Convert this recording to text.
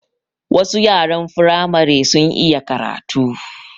Wasu yaran Firamare sun iya karatu